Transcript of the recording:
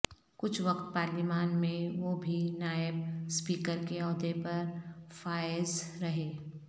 کچھ وقت پارلیمان میں وہ بھی نائب اسپیکر کے عہدے پر فائز رہے